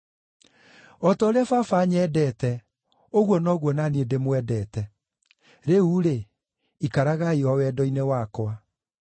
“O ta ũrĩa Baba anyendete, ũguo noguo na niĩ ndĩmwendete. Rĩu-rĩ, ikaragai o wendo-inĩ wakwa.